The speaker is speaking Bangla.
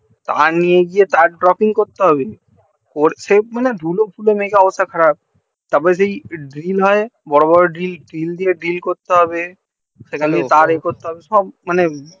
হাতুড়ি দিয়ে তার ডকিং করতে হবে ওর সে মনে হয় ধুলো ফুলো মেখে অবস্থা খারাপ তার পর সেই ড্রিল হয় বড়ো বড়ো ড্রিল ড্রিল দিয়ে ড্রিল করতে হবে সেখানে তার এ করতে হবে সব মানে